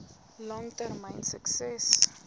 lang termyn sukses